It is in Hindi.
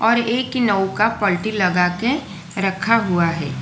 एक नौका पट्टी लगाके रखा हुआ है।